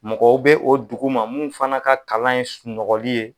Mɔgɔw bɛ o duguma mun fana ka kalan ye sunnɔgɔli ye.